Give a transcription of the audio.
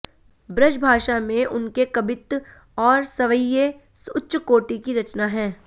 ब्रजभाषा में उनके कबित्त और सवैये उच्चकोटि की रचना हैं